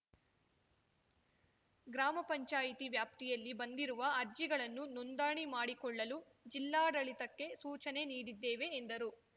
ಗ್ರಾಮ ಪಂಚಾಯತಿ ವ್ಯಾಪ್ತಿಯಲ್ಲಿ ಬಂದಿರುವ ಅರ್ಜಿಗಳನ್ನು ನೋಂದಣಿ ಮಾಡಿಕೊಳ್ಳಲು ಜಿಲ್ಲಾಡಳಿತಕ್ಕೆ ಸೂಚನೆ ನೀಡಿದ್ದೇವೆ ಎಂದರು